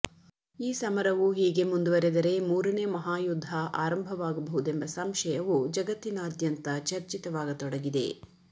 ಈ ಸಮರವು ಹೀಗೆ ಮುಂದುವರೆದರೆ ಮೂರನೇ ಮಹಾ ಯುದ್ಧ ಆರಂಭವಾಗಬಹುದೆಂಬ ಸಂಶಯವು ಜತ್ತಿನಾದ್ಯಂತ ಚರ್ಚಿತವಾಗತೊಡಗಿದೆ